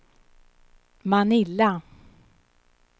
Manila